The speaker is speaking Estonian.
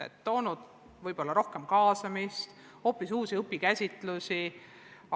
Nad on võimaldanud rohkem kaasamist, toonud juurde hoopis uudseid õpikäsitlusi.